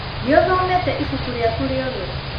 Nĩ ũthomete ibuku rĩaku rĩothe?